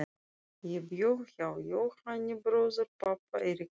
Ég bjó hjá Jóhanni bróður pabba í Reykjavík.